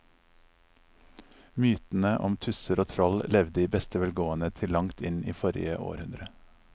Mytene om tusser og troll levde i beste velgående til langt inn i forrige århundre.